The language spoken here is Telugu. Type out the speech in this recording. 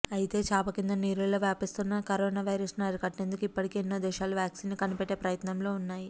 అయితే చాపకింద నీరులా వ్యాపిస్తున్న కరోనా వైరస్ను అరికట్టేందుకు ఇప్పటికే ఎన్నో దేశాలు వ్యాక్సిన్ని కనిపెట్టే ప్రయత్నంలో ఉన్నాయి